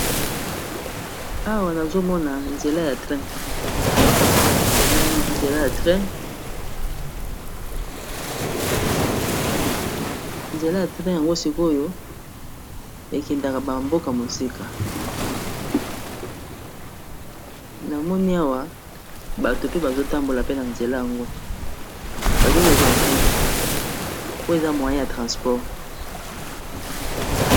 Awa nazomona nzela ya train nzela oyo sikoyo ekendaka ba mboka mosika namoni Awa bato bazo tambola na nzela wana pe ba keyi KO zuwa train po eza moyen ya transport.